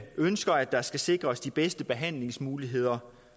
ønsker at der skal sikres de bedste behandlingsmuligheder